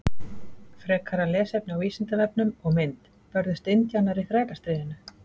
Frekara lesefni á Vísindavefnum og mynd Börðust indjánar í Þrælastríðinu?